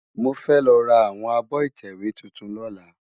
Mó fè lò rá áwòn ábò itèwé tútún lòlá